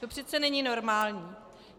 To přece není normální.